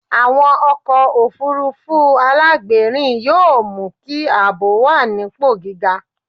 Àwọn ọkọ̀ òfuurufú alágbèérìn yóò mú kí ààbò wà nípò gíga.